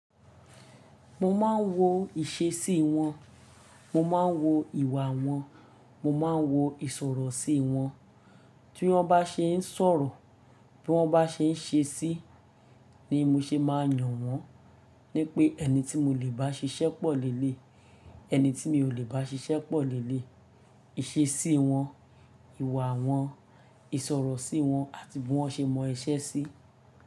Mo máa ń wo ìṣesí wọn, mo máa ń wo ìwà wọn, mo máa ń wo isọrọ sí wọn. Tí wọ́n bá ṣe ń sọ̀rọ̀, tí wọ́n bá ṣe ń ṣe sí ni mo ṣe máa yàn wọ́n. Ní pé ẹni tí mo lè bá ṣiṣẹ́ pọ̀ leleyi, ẹni tí mi ò lè bá ṣiṣẹ́ pọ̀ leleyi. Ìṣesí wọn, ìwà wọn, ìṣòro sí wọn àti bí wọ́n ṣe mọ iṣẹ́ sí.